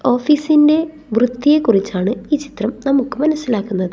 ഓഫീസിന്റെ വൃത്തിയെ കുറിച്ചാണ് ഈ ചിത്രം നമുക്ക് മനസ്സിലാക്കുന്നത്.